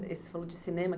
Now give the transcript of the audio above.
Você falou de cinema.